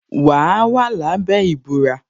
Wa wà lábẹ́ ìbúra